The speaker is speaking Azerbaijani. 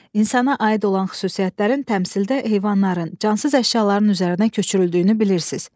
İnsana aid olan xüsusiyyətlərin təmsildə heyvanların, cansız əşyaların üzərinə köçürüldüyünü bilirsiz.